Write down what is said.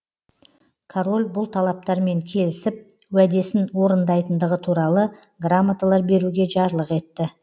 король бұл талаптармен келісіп уәдесін орындайтындығы туралы грамоталар беруге жарлық етті